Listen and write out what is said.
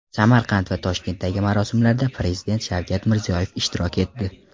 Samarqand va Toshkentdagi marosimlarda Prezident Shavkat Mirziyoyev ishtirok etdi.